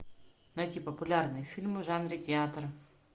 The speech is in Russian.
найти популярные фильмы в жанре театр